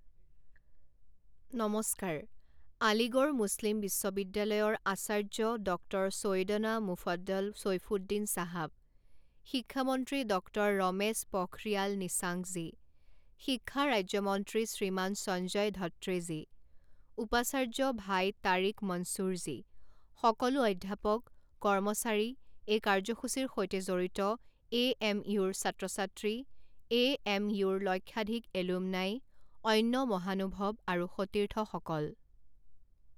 নমস্কাৰ, আলিগড় মুছলিম বিশ্ববিদ্যালয়ৰ আচাৰ্য ডক্টৰ চৈয়দনা মুফদল চৈফুদ্দিন চাহাব, শিক্ষা মন্ত্ৰী ডক্টৰ ৰমেশ পখৰিয়াল নিশাংকজী, শিক্ষা ৰাজ্য মন্ত্ৰী শ্ৰীমান সঞ্জয় ধত্ৰেজী, উপাচাৰ্য ভাই তাৰিক মনচুৰজী, সকলো অধ্যাপক, কৰ্মচাৰী, এই কাৰ্যসূচীৰ সৈতে জড়িত এএমইউ ৰ ছাত্ৰ ছাত্ৰী, এএমইউ ৰ লক্ষাধিক এলুমনাই, অন্য মহানুভৱ আৰু সতীৰ্থসকল।